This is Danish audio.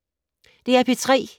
DR P3